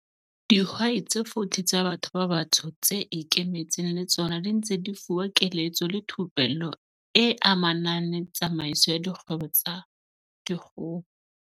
Dihwai tse 40 tsa batho ba batsho tse ikemetseng le tsona di ntse di fuwa keletso le thupello e amanang le tsamaiso ya dikgwebo tsa dikgoho.